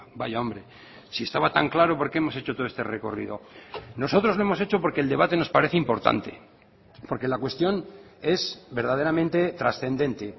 vaya hombre si estaba tan claro por qué hemos hecho todo este recorrido nosotros lo hemos hecho porque el debate nos parece importante porque la cuestión es verdaderamente trascendente